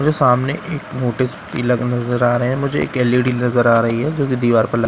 मुझे सामने एक मोटिव प्लग नजर आ रहा हैं मुझे एक एलईडी नजर आ रही हैं जो की दिवार पर --